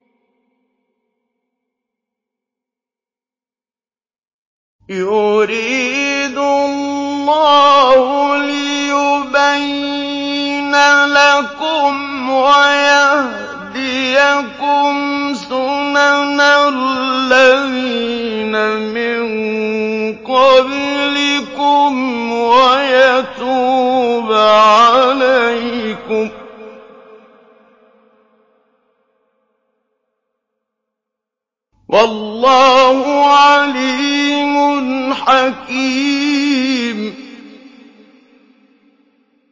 يُرِيدُ اللَّهُ لِيُبَيِّنَ لَكُمْ وَيَهْدِيَكُمْ سُنَنَ الَّذِينَ مِن قَبْلِكُمْ وَيَتُوبَ عَلَيْكُمْ ۗ وَاللَّهُ عَلِيمٌ حَكِيمٌ